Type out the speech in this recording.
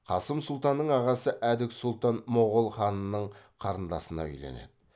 қасым сұлтанның ағасы әдік сұлтан моғол ханының қарындасына үйленеді